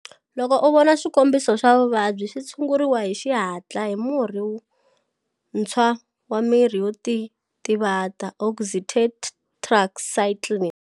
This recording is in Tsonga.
Loko u vona swikombiso swa vuvabyi, swi tshunguri hi xihatla hi murhi ntshwa wa mirhi yo titvata, "oxytetracycline"